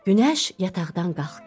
Günəş yataqdan qalxdı.